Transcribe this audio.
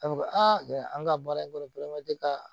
A bɛ fɔ ko aa an ka baara in kɔnɔ ka